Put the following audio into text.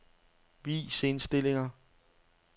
Vis indstillinger.